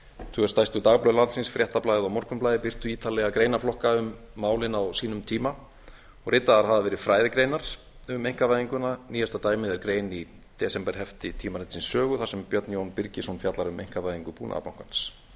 tvö stærstu dagblöð landsins fréttablaðið og morgunblaðið birtu ítarlega greinarflokka um málin á sínum tíma og ritaðar hafa verið fræðigreinar um einkavæðinguna nýjasta dæmið er grein í desemberhefti tímaritsins sögu þar sem björn jón birgisson fjallar um einkavæðingu búnaðarbankans síðast en